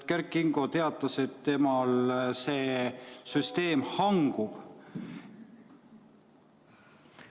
Kert Kingo teatas, et temal see süsteem hangub.